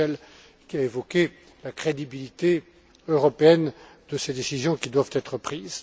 M. Mitchell, qui a évoqué la crédibilité européenne vis à vis de ces décisions qui doivent être prises.